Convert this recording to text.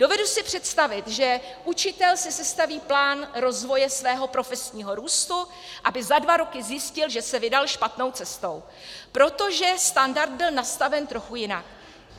Dovedu si představit, že učitel si sestaví plán rozvoje svého profesního růstu, aby za dva roky zjistil, že se vydal špatnou cestou, protože standard byl nastaven trochu jinak.